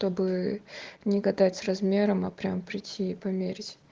чтобы не гадать с размером а прямо прийти и померь